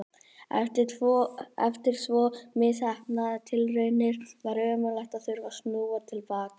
Eftir svo misheppnaðar tilraunir var ömurlegt að þurfa að snúa til baka.